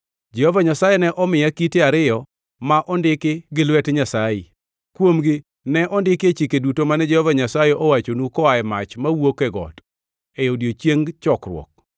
Jehova Nyasaye ne omiya kite ariyo ma ondiki gi lwet Nyasaye. Kuomgi ne ondiki e chike duto mane Jehova Nyasaye owachonu koa e mach mawuok e got, e odiechieng chokruok.